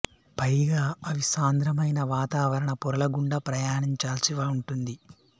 పైగా అవి సాంద్రమైన వాతావరణ పొరల గుండా ప్రయాణించాల్సి ఉంటుంది